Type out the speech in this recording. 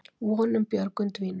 Von um björgun dvínar